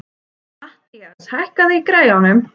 Mathías, hækkaðu í græjunum.